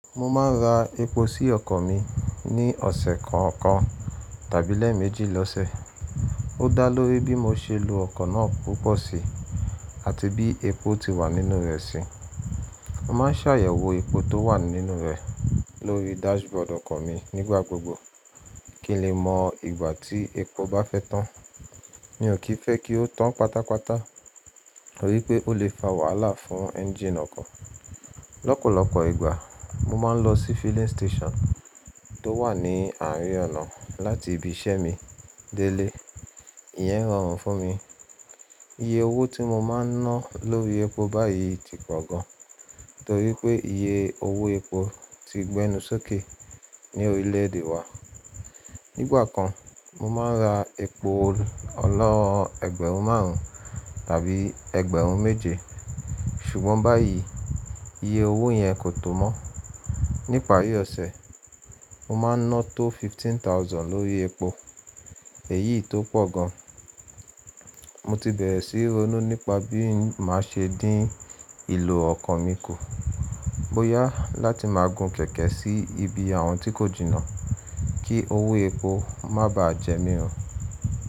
Mo máa ń ra epo sí ọkọ̀ mi ní ọ̀sẹ̀ kan ọ̀kan tàbí lẹ́ẹ̀mejì lọ́sẹ̀. Ó dá lóri bí mo ṣe lo ọkọ̀ náà púpọ̀ sí àti bí epo ti wà nínú rẹ̀ sí. Mo má ń ṣàyẹ̀wò epo tó wà nínú rẹ̀ lórí dashboard ọkọ̀ mi nígbà gbogbo kí n lè mọ ìgbà tí epo bá fẹ́ tán. Mi ò kí fẹ́ kí ó tán pátápátá torí pé ó lè fa wàhálà fún engine ọkọ̀. Lọ́pọ̀lọ́pọ̀ ìgbà mo máa ń lọ sí filling station tó wà ní àárín ọ̀nà láti ibi iṣẹ́ mi dé ilé. Ìyẹn rọrùn fún mi. Iye owó tí mo máa ń ná lórí epo báyìí ti pọ̀ gan torí pé iye owó epo ti gbẹ́nu sókè ní orílẹ̀ èdè wa. Nígbà kan, mo máa ń ra epo ọlọ́ ẹgbẹ̀rún márùn-ún tàbí ẹgbẹ̀rún méje ṣùgbọ́n báyìí iye owó yẹn kò tọ́ mọ́. Ní ìparí ọ̀sẹ̀, mo máa ń ná tó fifteen thousand lórí epo èyí tó pọ̀ gan. Mo ti bẹ̀rẹ̀ sí ronú nípa bí màá ṣe dín ìlò ọkọ̀ mi kù. Bo yà láti máa gun kẹ̀kẹ́ sí ibi àwọn tí kò jìnnà kí owó epo má bàá jẹ mí run.